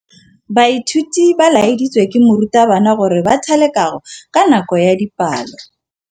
Baithuti ba laeditswe ke morutabana gore ba thale kagô ka nako ya dipalô.